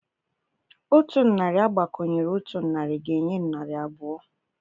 Otu narị agbakọnyere otu narị ga-enye narị abụọ.